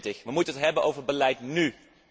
2020. Wij moeten het hebben over beleid nú!